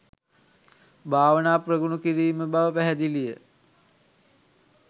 භාවනා ප්‍රගුණ කිරීම බව පැහැදිලි ය